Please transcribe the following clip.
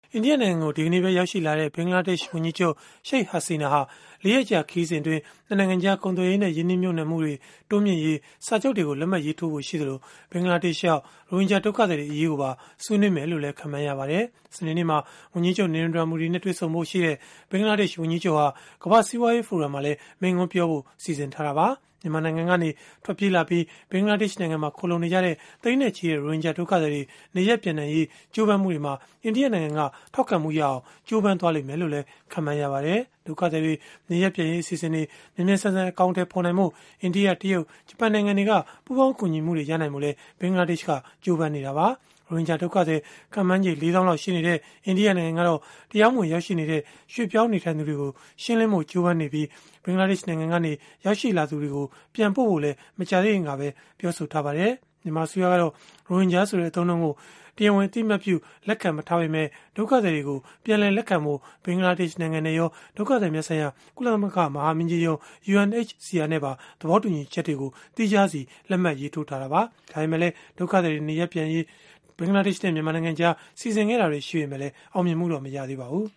အိန္ဒိယနိုင်ငံကို ဒီကနေ့ပဲ ရောက်ရှိလာတဲ့ ဘင်္ဂလားဒေ့ရှ် ဝန်ကြီးချုပ် Sheikh Hasina ဟာ ၄ ရက်ကြာ ခရီးစဉ်အတွင်း ၂ နိုင်ငံကြား ကုန်သွယ်ရေးနဲ့ ရင်းနှီးမြှုပ်နှံမှုတွေ တိုးမြှင့်ရေး စာချုပ်တွေကို လက်မှတ်ရေးထိုးဖို့ ရှိသလို ဘင်္ဂလားဒေ့ရှ်ရောက် ရိုဟင်ဂျာ ဒုက္ခသည်တွေ အရေးကိုပါ ဆွေးနွေးလိမ့်မယ်လို့ ခန့်မှန်းရပါတယ်။ စနေနေ့မှာ ဝန်ကြီးချုပ် Narendra Modi နဲ့ တွေ့ဆုံဖို့ရှိတဲ့ ဘင်္ဂလားဒေ့ရှ် ဝန်ကြီးချုပ်ဟာ ကမ္ဘာ့စီးပွားရေးဖိုရမ်မှာလည်း မိန့်ခွန်းပြောဖို့ စီစဉ်ထားတာပါ။ မြန်မာနိုင်ငံကနေ ထွက်ပြေးလာပြီး ဘင်္ဂလားဒေ့ရှ် နိုင်ငံမှာ ခိုလှုံနေကြတဲ့ သိန်းနဲ့ချီတဲ့ ရိုဟင်ဂျာဒုက္ခသည်တွေ နေရပ်ပြန်နိုင်ရေး ကြိုးပမ်းမှုတွေမှာ အိန္ဒိယနိုင်ငံက ထောက်ခံမှုရအောင် ကြိုးပမ်းလိမ့်မယ်လို့လည်း ခန့်မှန်းရပါတယ်။ ဒုက္ခသည်တွေ နေရပ်ပြန်ရေး အစီအစဉ်တွေ မြန်မြန်ဆန်ဆန် အကောင်အထည်ဖော်နိုင်ဖို့ အိန္ဒိယ၊ တရုတ်၊ ဂျပန်နိုင်ငံတွေက ပူးပေါင်းကူညီမှုတွေ ရနိုင်ဖို့လည်း ဘင်္ဂလားဒေ့ရှ် နိုင်ငံက ကြိုးပမ်းနေတာပါ။ ရိုဟင်ဂျာဒုက္ခသည် ခန့်မှန်းချေ ၄၀,၀၀၀ လောက်ရှိနေတဲ့ အိန္ဒိယနိုင်ငံကတော့ တရားမဝင် ရောက်ရှိနေတဲ့ ရွှေ့ပြောင်းနေထိုင်သူတွေကို ရှင်းလင်းဖို့ ကြိုးပမ်းနေတာဖြစ်ပြီး ဘင်္ဂလားဒေ့ရှ် နိုင်ငံကနေ ရောက်ရှိလာသူတွေကို ပြန်ပို့ဖို့လည်း မကြာသေးခင်ကပဲ ပြောဆိုထားပါတယ်။ မြန်မာအစိုးရကတော့ ရိုဟင်ဂျာဆိုတဲ့ အသုံးအနှုန်းကို တရားဝင် အသိအမှတ်ပြု လက်ခံမထားပေမဲ့ ဒုက္ခသည်တွေကို ပြန်လည်လက်ခံဖို့ ဘင်္ဂလားဒေ့ရှ်နိုင်ငံနဲ့ရော ဒုက္ခသည်များဆိုင်ရာ ကုလသမဂ္ဂ မဟာမင်းကြီးရုံး (UNHCR) နဲ့ပါ သဘောတူညီချက်တွေကို သီးခြားစီ လက်မှတ်ရေးထိုးထားတာပါ။ ဒါပေမဲ့လည်း ဒုက္ခသည်တွေ နေရပ်ပြန်ပို့ရေး ဘင်္ဂလားဒေ့ရှ်နဲ့ မြန်မာနိုင်ငံကြား စီစဉ်ခဲ့တာတွေ ရှိပေမဲ့လည်း အောင်မြင်မှုတော့ မရခဲ့ပါဘူး